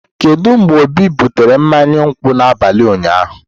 Kedu mgbe obi butere mmanya nkwụ n'abalị ụnyaahụ?